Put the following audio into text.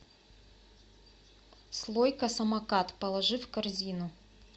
слойка самокат положи в корзину